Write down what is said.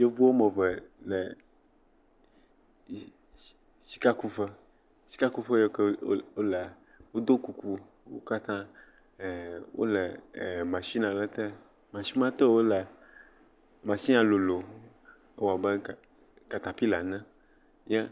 Yevu woame eve le sika kuƒe. si sikakuƒe yake wolea, woɖɔ kuku. Wo kata wole machine aɖe te. Machine ya te wolea, ewoa be katapila ene eh.